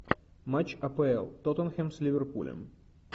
матч апл тоттенхэм с ливерпулем